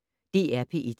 DR P1